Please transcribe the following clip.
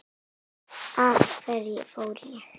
Af hverju fór ég?